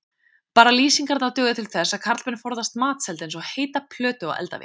Bara lýsingarnar duga til þess að karlmenn forðast matseld eins og heita plötu á eldavél.